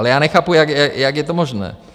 Ale já nechápu, jak je to možné.